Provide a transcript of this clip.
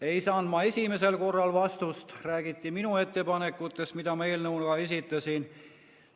Ei saanud ma esimesel korral vastust, vastuses räägiti minu ettepanekutest, mis ma eelnõu kohta esitasin.